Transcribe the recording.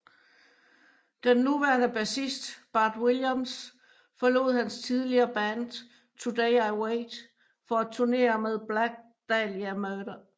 Den nuværende bassist Bart Williams forlod hans tidligere band Today I Wait for at turnére med Black Dahlia Murder